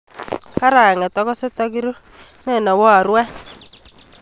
Kara'nget okose tokiru, nenowo oboru any